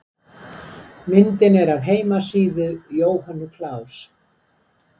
Myndin er af heimasíðu Jóhönnu Klaus.